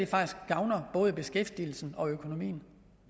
faktisk gavner både beskæftigelsen og økonomien